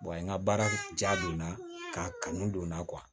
n ka baara ja donna k'a kanu don n na